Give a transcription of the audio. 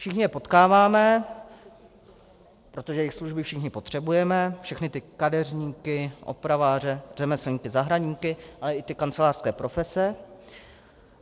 Všichni je potkáváme, protože jejich služby všichni potřebujeme, všechny ty kadeřníky, opraváře, řemeslníky, zahradníky a i ty kancelářské profese.